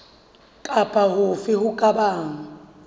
kapa hofe ho ka bang